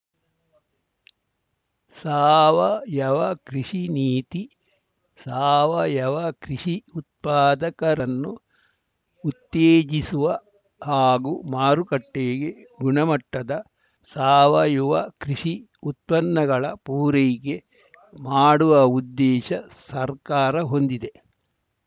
ಸಾವಯವ ಕೃಷಿ ನೀತಿ ಸಾವಯವ ಕೃಷಿ ಉತ್ಪಾದಕರನ್ನು ಉತ್ತೇಜಿಸುವ ಹಾಗೂ ಮಾರುಕಟ್ಟೆಗೆ ಗುಣಮಟ್ಟದ ಸಾವಯುವ ಕೃಷಿ ಉತ್ಪನ್ನಗಳ ಪೂರೈಕೆ ಮಾಡುವ ಉದ್ದೇಶ ಸರ್ಕಾರ ಹೊಂದಿದೆ